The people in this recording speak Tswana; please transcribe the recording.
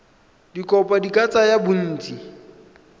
dikopo di ka tsaya bontsi